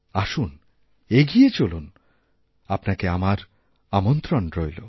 আসুন এগিয়ে চলুন আপনাকে আমার আমন্ত্রণ রইল